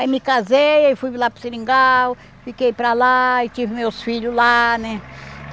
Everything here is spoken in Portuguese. Aí me casei, aí fui lá para o seringal, fiquei para lá e tive meus filhos lá, né?